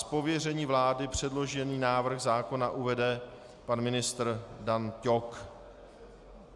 Z pověření vlády předložený návrh zákona uvede pan ministr Dan Ťok.